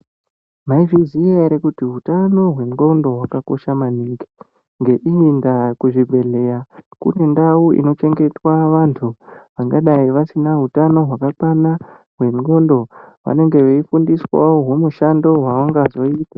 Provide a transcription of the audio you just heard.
Maizviziya ere kuti utano hwendxondo hwakakosha maningi. Ngeiyi ndaa kuzvibhedhlera kune ndau inochengetwa vantu vangadai vasina utano hwakakwana hwendxondo vanenge veifundiswawo humushando hwavangazoita.